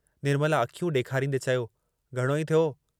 निर्मला अखियूं ॾेखारींदे चयो, घणो ई थियो।